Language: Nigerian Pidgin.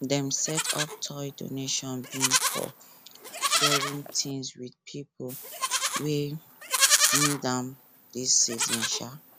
dem set up toy donation bin for share things with pipo wey need am dis season um